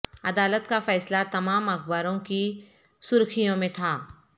عدالت کا فیصلہ تمام اخباروں کی سرخیوں میں تھا